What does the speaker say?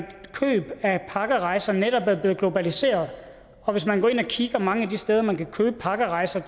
køb af pakkerejser netop er blevet globaliseret hvis man går ind og kigger mange af de steder hvor man kan købe pakkerejser